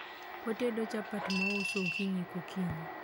otedo chapat mouso okinyi kokinyi